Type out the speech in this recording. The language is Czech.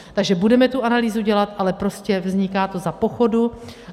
Takže budeme tu analýzu dělat, ale prostě vzniká to za pochodu.